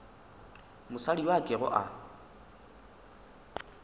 mosadi yo a kego a